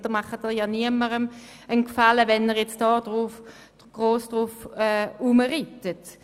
Sie tun niemandem einen Gefallen, wenn Sie jetzt darauf herumreitet.